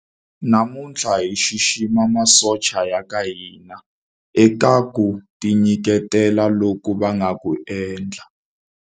Namuntlha hi xixima masocha ya ka hina eka ku tinyiketela loku va nga ku endla.